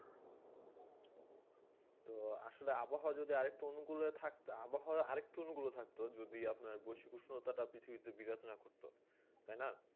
তো আসলে আবহাওয়া আরও একটু আনুকেলে আবহাওয়া আরও অনুকূল থাকতো যদি বসি উত্তর তা পৃথিবী তে বিৰত্ন করতো তাই না